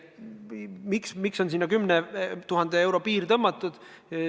Miks on sinna tõmmatud 10 000 euro piir?